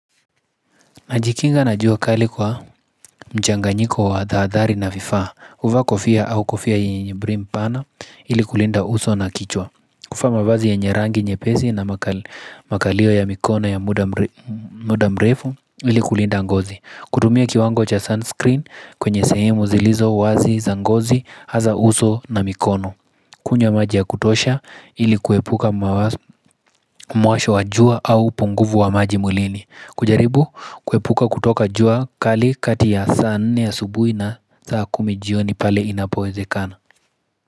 Najikinga na jua kali kwa mchanganyiko wa tahadhari na vifaa, huvaa kofia au kofia yenye brim pana ili kulinda uso na kichwa kuvaa mavazi yenye rangi nyepesi na makali makalio ya mikono ya muda mrefu ili kulinda ngozi Kudumia kiwango cha sunscreen kwenye sehemu zilizo wazi za ngozi hasa uso na mikono kunywa maji ya kutosha ili kuepuka mwasho wa jua au upunguvu wa maji mwilini kujaribu kuepuka kutoka jua kali kati ya saa nne asubuhi na saa kumijioni pale inapoweze kana.